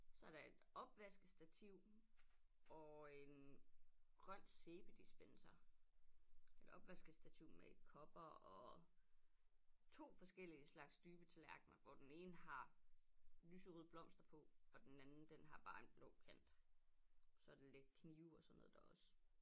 Så er der et opvaskestativ og en grøn sæbedispenser et opvaskestativ med kopper og 2 forskellige slags dybe tallerkner hvor den ene har lyserøde blomster på og den anden den har bare en blå kant så der lidt knive og sådan noget der også